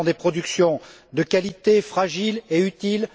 Nous avons des productions de qualité, fragiles et utiles.